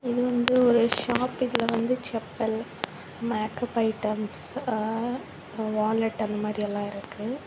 இது வந்து ஒரு ஷாப் . இதுல வந்து செப்பல் மேக்கப் ஐட்டம்ஸ் அ வாலட் அந்த மாதிரி எல்லா இருக்கு.